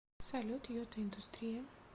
салют йота индустрия